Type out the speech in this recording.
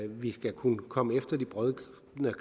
vi skal kunne komme efter de brodne